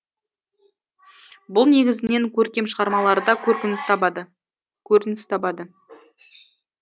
бұл негізінен көркем шығармаларда көрініс табады